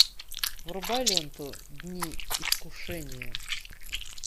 врубай ленту дни искушения